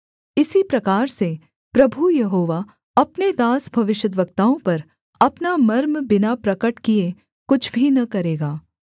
इसी प्रकार से प्रभु यहोवा अपने दास भविष्यद्वक्ताओं पर अपना मर्म बिना प्रगट किए कुछ भी न करेगा